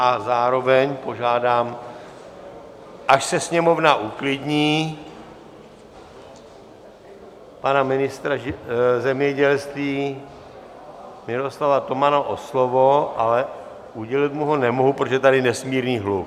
A zároveň požádám, až se Sněmovna uklidní, pana ministra zemědělství Miroslava Tomana o slovo, ale udělit mu ho nemohu, protože je tady nesmírný hluk.